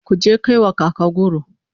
kuje ku kaiwa kaka goro!